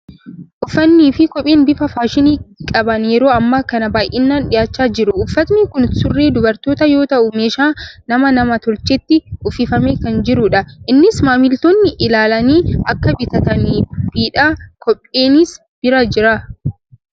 Uffatnii fi kopheen bifa faashinii qaban yeroo ammaa kana baay'inaan dhiyaachaa jiru. Uffatni kun surree dubartootaa yoo ta'u, meeshaa nama nam-tolcheetti uffifamee kan jirudha. Innis maamiltoonni ilaalanii akka bitataniifidha. Kopheenis bira jira.